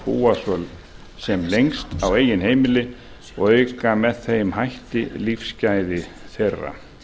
búa sem lengst á eigin heimili og auka með þeim hætti lífsgæði þeirra